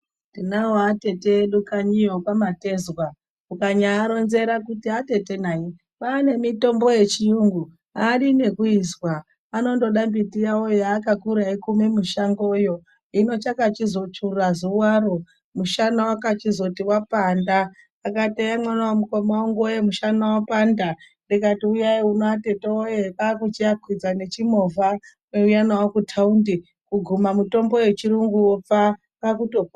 Tinawo atete edu kanyiyo kwaMatezwa mukanyaaronzera kuti atete nai kwaane mitombo yechiyungu aadi nekuizwa anondoda miti yawoyo yaakakura eikume mushangoyo hino chakachizotsvuura zuwaro, mushana wakachizoti wapanda akati eya mwana wemukoma wangu wee mushana wapanda ndikato uyainuno atete wee kwakuchiakwidza nechimovhakuuya nawo kutaundi kuguma mitombo yechiyungu pfaa kwakutopona..